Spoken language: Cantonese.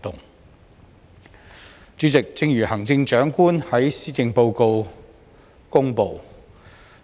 代理主席，正如行政長官在施政報告公布，